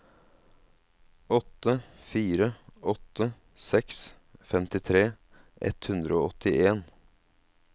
åtte fire åtte seks femtitre ett hundre og åttien